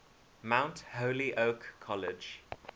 mount holyoke college